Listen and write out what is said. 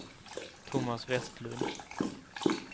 Thomas Vestlund